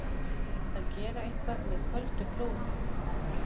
Að gera eitthvað með köldu blóði